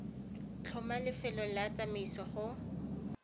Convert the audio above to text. tlhoma lefelo la tsamaiso go